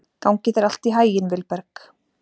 Gangi þér allt í haginn, Vilberg.